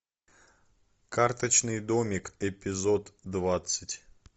карточный домик эпизод двадцать